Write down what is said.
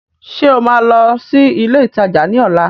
Ṣé o máa lọ sí ilé ìtajà ní ọ̀la?